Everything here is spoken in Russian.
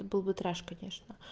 это был бы треш конечно